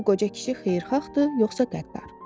bu qoca kişi xeyirxahdır, yoxsa qəddar?